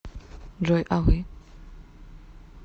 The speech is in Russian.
джой а вы